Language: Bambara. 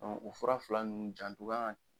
o fura fila nunnu janto kan ka kɛ